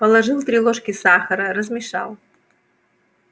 положил три ложки сахара размешал